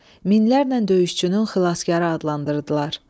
Minlərlə döyüşçünün xilaskarı adlandırdılar.